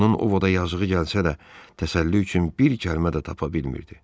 Onun Ovoda yazığı gəlsə də, təsəlli üçün bir kəlmə də tapa bilmirdi.